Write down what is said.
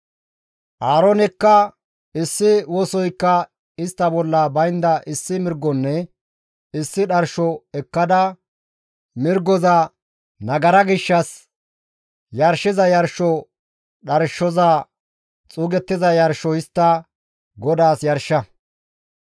Aaroonekka, «Issi wosoykka istta bolla baynda issi mirgonne issi dharsho ekkada mirgoza nagara gishshas yarshiza yarsho dharshoza xuugettiza yarsho histta GODAAS yarsha.